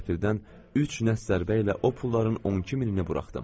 Qəfildən üç nə sərbə ilə o pulların 12000-ni buraxdım.